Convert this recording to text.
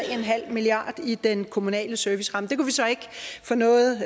milliard kroner i den kommunale serviceramme det kunne vi så ikke få noget